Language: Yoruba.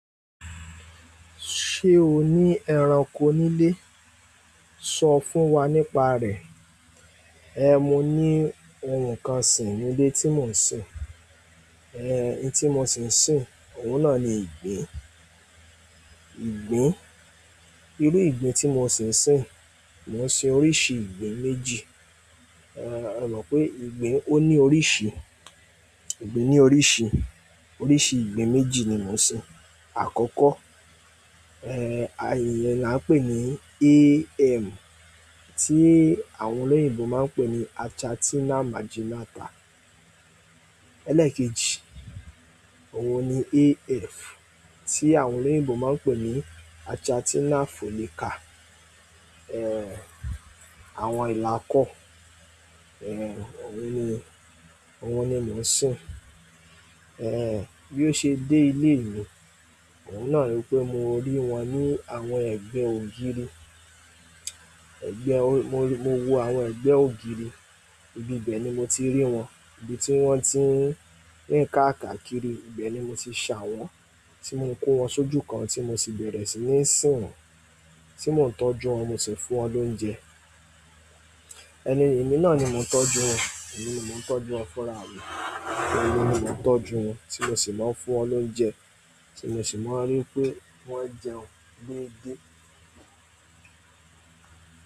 Ṣé o ní ẹranko nílé? Sọ fún wa nípa rẹ̀. Ehn, mo ní ohun kan sì ní ilé tí mò ń sin. Ehn, ohun tí mò ṣì ń sin, òun náà ni ìgbín. Ìgbín. Irú ìgbín tí mò ṣì ń sin, mò ń sin oríṣi ìgbín méjì. Ehn, a mọ̀ pé ìgbín ó ní oríṣi. Ìgbín ní oríṣi. Oríṣi ìgbín méjì ni mò ń sin. Àkọ́kọ́, eh, àyè ni à ń pè ní AM, tí àwọn olóyìnbo máa ń pè ní Achatina Marginata. Elékèjì, òun ni AF, tí àwọn olóyìnbo máa ń pè ní Achatina Fulica. Ehn, àwọn ìla kọ́, eh, òun ni, òun ni mò ń sin. Ehn, bí ó ṣe dé ilé mi, òun náà rí pé mo rí wọn ní àwọn ẹgbẹ́ ògiri. Ẹ̀gbẹ́, mo, mo wo àwọn ẹ̀gbẹ́ ògiri. Ibi ibẹ̀ ni mo ti rí wọn. Ibi tí wọ́n ti ń rin kàkàkiri. Ibẹ̀ ni mo ti ṣa wọ́n, tí mo kó wọn sójú kan tí mo sì bẹ̀rẹ̀ sí ní sin wọ́n, tí mò ń tọ́jú wọn, mo sì ń fún wọn lóúnjẹ. Ẹni, èmi náà ni mò ń tọ́jú wọn. Èmi ni mò ń tọ́jú wọn fún ara mi. Èmi ni mò ń tọ́jú wọn tí mo sì máa ń fún wọn lóúnjẹ, tí mo sì máa rí pé wọ́n jẹun déde.